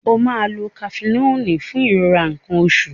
O máa lo Kafenọ́ọ̀lù fún ìrora nǹkan oṣù rẹ.